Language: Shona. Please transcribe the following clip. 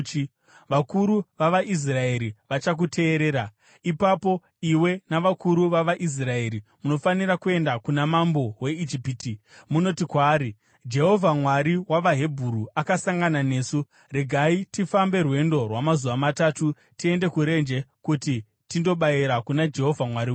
“Vakuru vavaIsraeri vachakuteerera. Ipapo iwe navakuru vavaIsraeri munofanira kuenda kuna mambo weIjipiti munoti kwaari, ‘Jehovha Mwari wavaHebheru akasangana nesu. Regai tifambe rwendo rwamazuva matatu tiende kurenje kuti tindobayira kuna Jehovha Mwari wedu.’